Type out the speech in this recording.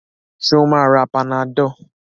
Ṣé ó máa ra panadol?